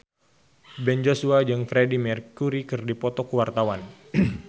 Ben Joshua jeung Freedie Mercury keur dipoto ku wartawan